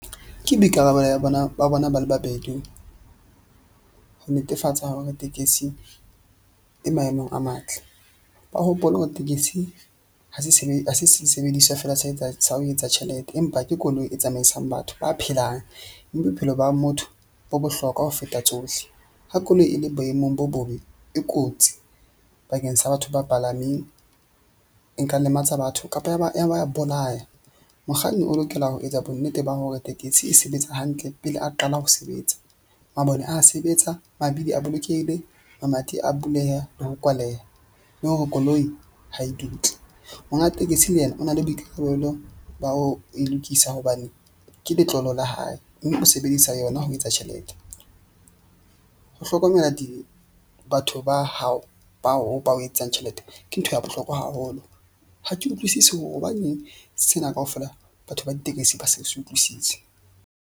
Ke boikarabelo ba bona ba le babedi. Ho netefatsa hore tekesi e maemong a matle. Ba hopole hore tekesi ha se ha se sebediswa fela sa etsang sa ho etsa tjhelete, empa ke koloi e tsamaisang batho ba phelang. Mme bophelo ba motho bo bohlokwa ho feta tsohle. Ha koloi e le boemong bo bobe, e kotsi bakeng sa batho ba palameng, e nka lematsa batho kapa ya ba bolaya. Mokganni o lokela ho etsa bonnete ba hore tekesi e sebetsa hantle pele a qala ho sebetsa, mabone a sebetsa, mabidi a bolokehile, mamati a buleha le ho kwaleha le hore koloi ha e dutle. Monga tekesi le yena o na le boikarabelo ba ho e lokisa hobane ke letlolo la hae mme o sebedisa yona ho etsa tjhelete. Ho hlokomela di batho ba hao bao bao etsang tjhelete ke ntho ya bohlokwa haholo. Ha ke utlwisisi hore hobaneng sena kaofela batho ba ditekesi ba sa se utlwisise.